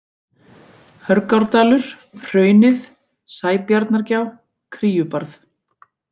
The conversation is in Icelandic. Hörgárdalur, Hraunið, Sæbjarnargjá, Kríubarð